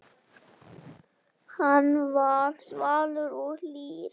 Hann var svalur og hlýr.